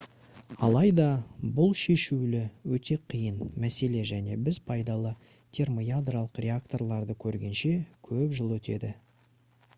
алайда бұл шешілуі өте қиын мәселе және біз пайдалы термоядролық реакторларды көргенше көп жыл өтеді